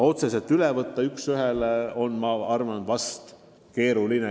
Võtta midagi otseselt üks ühele üle on ehk keeruline.